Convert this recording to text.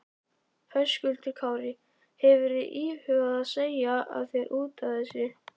Höskuldur Kári: Hefurðu íhugað að segja af þér útaf þessu?